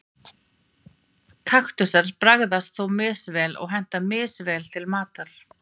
kaktusar bragðast þó misvel og henta misvel til matar